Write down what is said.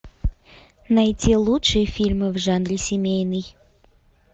найти лучшие фильмы в жанре семейный